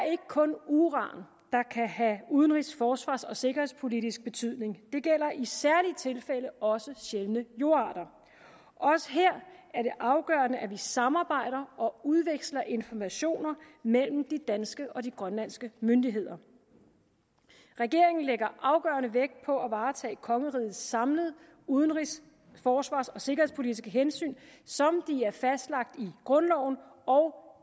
kun uran der kan have udenrigs forsvars og sikkerhedspolitisk betydning det gælder i særlige tilfælde også sjældne jordarter også her er det afgørende at vi samarbejder og udveksler informationer mellem de danske og de grønlandske myndigheder regeringen lægger afgørende vægt på at varetage kongerigets samlede udenrigs forsvars og sikkerhedspolitiske hensyn som de er fastlagt i grundloven og